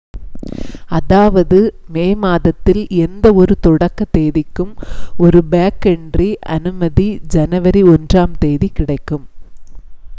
அதாவது மே மாதத்தில் எந்த ஒரு தொடக்கத் தேதிக்கும் ஒரு பேக்கன்ட்ரி அனுமதி ஜனவரி 1 ம் தேதி கிடைக்கும்